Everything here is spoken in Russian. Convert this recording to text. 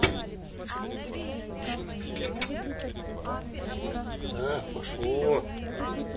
а пошло